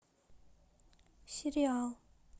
сериал